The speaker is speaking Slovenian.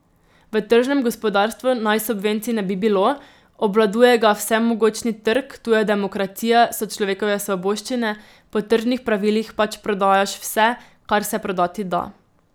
V tržnem gospodarstvu naj subvencij ne bi bilo, obvladuje ga vsemogočni trg, tu je demokracija, so človekove svoboščine, po tržnih pravilih pač prodajaš vse, kar se prodati da.